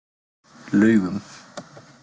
Laugum